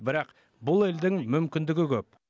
бірақ бұл елдің мүмкіндігі көп